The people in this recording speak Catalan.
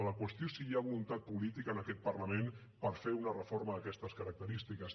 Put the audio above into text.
la qüestió és si hi ha voluntat política en aquest parlament per fer una reforma d’aquestes característiques